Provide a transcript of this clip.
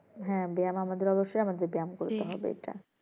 হ্যাঁ ব্যায়াম আমাদের অবশ্যই আমাদের ব্যায়াম করতে হবে এটা